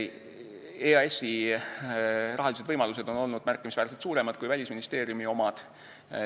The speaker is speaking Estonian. EAS-i rahalised võimalused on olnud märkimisväärselt suuremad kui Välisministeeriumi omad.